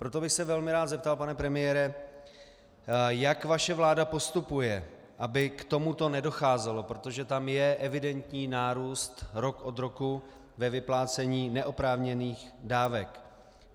Proto bych se velmi rád zeptal, pane premiére, jak vaše vláda postupuje, aby k tomuto nedocházelo, protože tam je evidentní nárůst rok od roku ve vyplácení neoprávněných dávek.